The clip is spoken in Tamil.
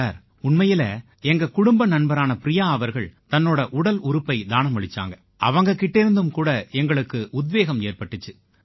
சார் உண்மையில எங்க குடும்ப நண்பரான பிரியா அவர்கள் தன்னோட உடல் உறுப்பை தானமளிச்சாங்க அவங்க கிட்டேர்ந்தும் கூட எங்களுக்கு உத்வேகம் ஏற்பட்டிச்சு